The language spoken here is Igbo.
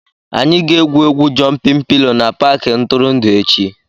Anyị ga-egwu egwu "jụmpịn pilo" na Paakị ntụrụndụ echi